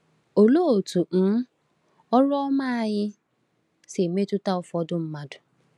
Olee otú um ọrụ ọma anyị si emetụta ụfọdụ mmadụ?